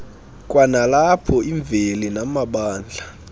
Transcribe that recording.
kwanalapho imveli namabandla